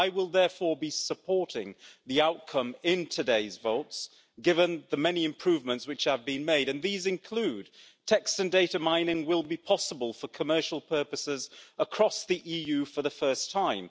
I will therefore be supporting the outcome in today's votes, given the many improvements which have been made and these include text and data mining will be possible for commercial purposes across the EU for the first time